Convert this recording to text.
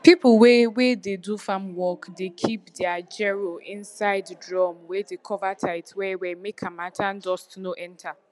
people wey wey dey do farm work dey keep dere gero inside drum wey de cover tight well well make harmattan dust no enter